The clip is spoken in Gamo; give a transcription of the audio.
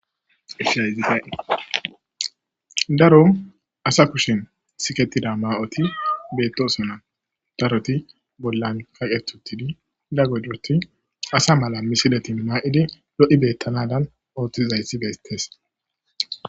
Daro asa kushshen siketida ma'oti betosona daroti bolan qaqeti utida iza gidoppe asa mala missileti mayidi lo'i bettanadan oththizayss bettes